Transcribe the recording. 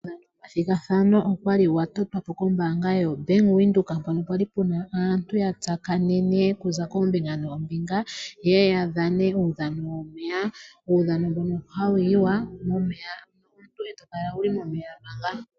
Uudhano womathigathano okwali wa totwapo kombaanga yo Bank Windhoek mpono pwali puna aantu ya tsakanene okuza kombinga nombinga ye ya dhane uudhano womeya uudhano mbuno hawu yiwa momeya omuntu eto kala wuli momeya manga.